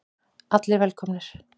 Allir velkomnir.